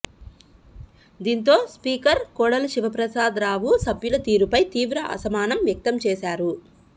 దీంతో speaker Kodela Sivaprasadarao సభ్యుల తీరుపై తీవ్ర అసహనం వ్యక్తం చేశారు